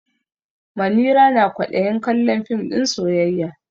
Manira na kwaɗayin kallon fim ɗin soyayya.